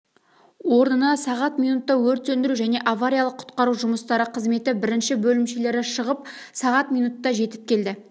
орнына сағат минутта өрт сөндіру және авариялық-құтқару жұмыстары қызметі бірінші бөлімшелері шығып сағат минутта жетіп келді